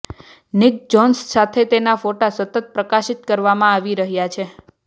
Nick Johnson સાથે તેના ફોટા સતત પ્રકાશિત કરવામાં આવી રહ્યા છે